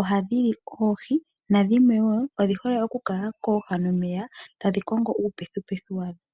ohadhi li oohi nadhi mwe wo odhi hole oku kala kooha nomeya tadhi kongo uupethupethu wadho.